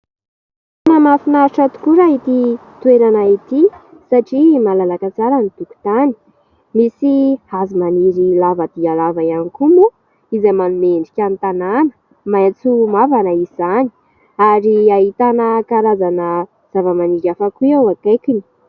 Tena mahafinaritra tokoa raha ity toerana ity satria malalaka tsara ny tokotany ; misy hazo maniry lava dia lava ihany koa moa, izay manome endrika ny tanàna, maitso mavana izany ; ary ahitana karazana zavamaniry hafa koa ao akaikiny.